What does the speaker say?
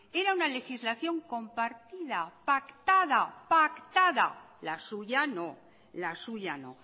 era una legislación compartida pactada pactada la suya no la suya no